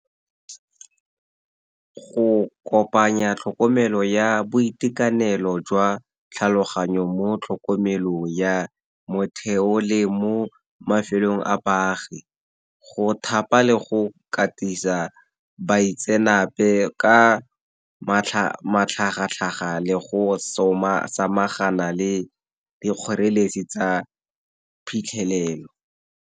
Go kopanya tlhokomelo ya boitekanelo jwa tlhaloganyo mo tlhokomelong ya motheo le mo mafelong a baagi go thapa le go katisa baitsenape ka matlhagatlhaga le go samagana le le kgoreletsi tsa phitlhelelo.